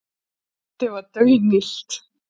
Loftið var daunillt.